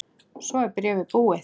Svo er bréfið búið